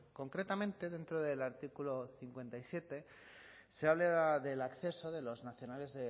concretamente dentro del artículo cincuenta y siete se habla del acceso de los nacionales